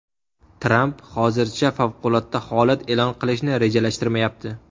Tramp hozircha favqulodda holat e’lon qilishni rejalashtirmayapti.